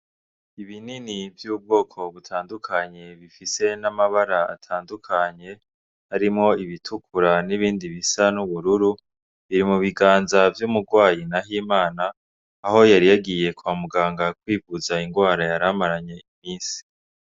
Ibinini vy'ubwoko butandukanye bifise n'amabara atandukanye harimwo ibitukura n'ibindi bisa n'ubururu biri mu biganza vy'umurwayi Nahimana aho yari yagiye kwa muganga kwivuza ingwara yaramaranye imisi.